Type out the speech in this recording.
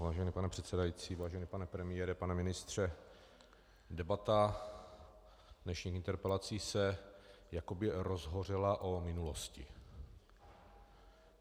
Vážený pane předsedající, vážený pane premiére, pane ministře, debata dnešních interpelací se jakoby rozhořela o minulosti.